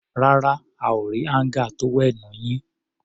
Rárá, a ò rí áńgà tówẹ́ẹ̀nù yín.